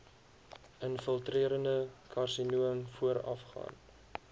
infiltrerende karsinoom voorafgaan